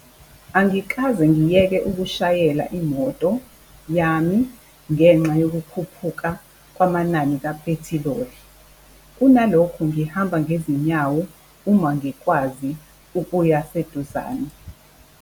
Angikaze ngiyeke ukushayela imoto yami ngenxa yokukhuphuka kwamanani kaphethiloli, kunalokho ngihamba ngezinyawo uma ngikwazi ukuya seduzane.